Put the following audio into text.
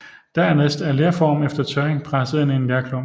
Dernæst er lerformen efter tørring presset ind i en lerklump